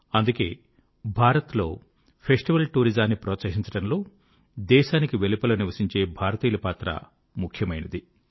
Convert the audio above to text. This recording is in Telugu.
అందుకే భారత్ లో ఫెస్టివల్ టూరిజం ను ప్రోత్సహించడంలో దేశానికి వెలుపల నివసించే భారతీయుల పాత్ర ముఖ్యమైనది